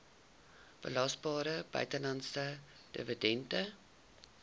belasbare buitelandse dividend